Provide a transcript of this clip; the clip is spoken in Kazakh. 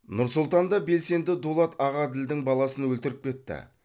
нұр сұлтанда белсенді дулат ағаділдің баласын өлтіріп кетті